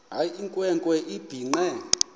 eyinkwe nkwe ebhinqe